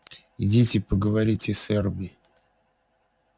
идите поговорите с эрби